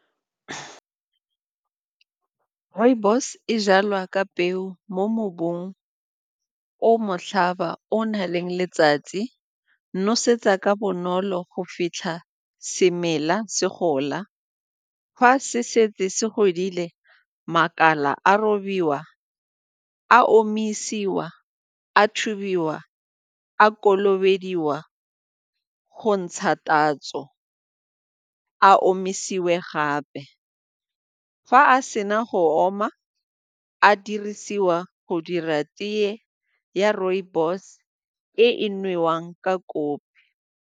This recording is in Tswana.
Rooibos e jalwa ka peo mo mobung o motlhaba o o na leng letsatsi, nosetsa ka bonolo go fitlha semela se gola. Fa se setse se godile, makala a robiwa, a omisiwa, a thubiwa a kolobediwa go ntsha tatso a omisiwa gape. Fa a sena go oma, a dirisiwa go dira tee ya rooibos e e newang ka kopi.